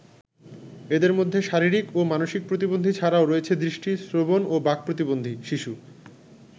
এদের মধ্যে শারীরিক ও মানসিক প্রতিবন্ধী ছাড়াও রয়েছে দৃষ্টি, শ্রবণ ও বাক প্রতিবন্ধী শিশু।